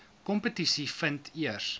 kompetisie vind eers